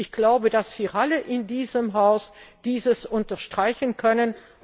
Ich glaube, dass wir alle in diesem Haus dies unterstreichen können.